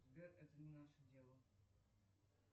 сбер это не наше дело